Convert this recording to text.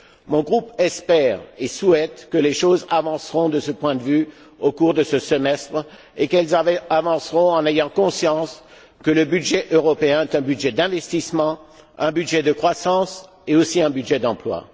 Mon groupe espère et souhaite que les choses avancent de ce point de vue au cours de ce semestre, en ayant conscience que le budget européen est un budget d'investissement, un budget de croissance et aussi un budget d'emploi.